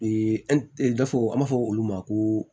Ee gafew an b'a fɔ olu ma ko